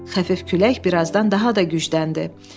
Xəfif külək birazdan daha da gücləndi.